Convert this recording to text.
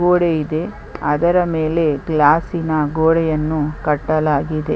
ಗೋಡೆ ಇದೆ ಅದರ ಮೇಲೆ ಗ್ಲಾಸ್ಸಿನ ಗೋಡೆಯನ್ನು ಕಟ್ಟಲಾಗಿದೆ .